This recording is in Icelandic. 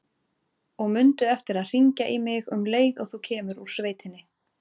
Og mundu eftir að hringja í mig um leið og þú kemur úr sveitinni.